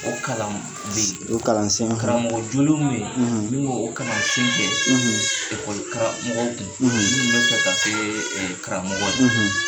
O kalan bi, o kalansen karamɔgɔ jolen mun ɲe yen; ; mun bɛ o kalansen kɛ; ; karamɔgɔw kun; ; Minnun bɛ fɛ ka kɛ karamɔgɔw ye;